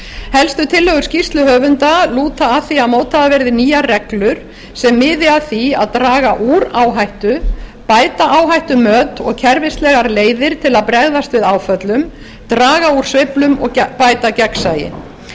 helstu tillögur skýrsluhöfunda lúta að því að mótaðar verði nýjar reglur sem miði að því að draga úr áhættu bæta áhættumat og kerfislegar leiðir til að bregðast við áföllum draga úr sveiflum og bæta gegnsæi þá